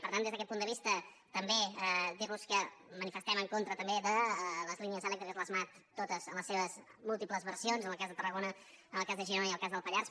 per tant des d’aquest punt de vista també dirlos que manifestem en contra també de les línies elèctriques les mat totes en les seves múltiples versions en el cas de tarragona en el cas de girona i en el cas del pallars